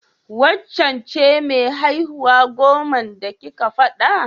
Waccen ce mai haihuwa goman da kike faɗa?